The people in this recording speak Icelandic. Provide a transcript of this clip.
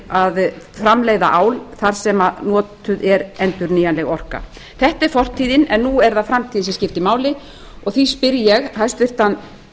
að framleiða ál þar sem notuð er endurnýjanleg orka þetta er fortíðin en nú er það framtíðin sem skiptir máli og því spyr ég hæstvirtan